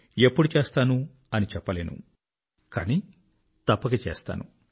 ఎప్పుడు చేస్తాను అని చెప్పలేను కానీ తప్పక చేస్తాను